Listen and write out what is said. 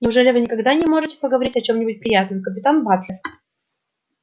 неужели вы никогда не можете поговорить о чем-нибудь приятном капитан батлер